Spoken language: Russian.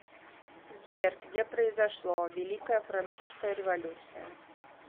сбер где произошло великая французская революция